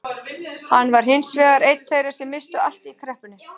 Hann var hins vegar einn þeirra sem misstu allt í kreppunni.